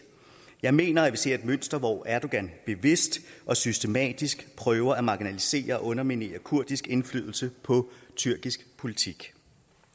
jeg mener at vi ser et mønster hvor erdogan bevidst og systematisk prøver at marginalisere og underminere kurdisk indflydelse på tyrkisk politik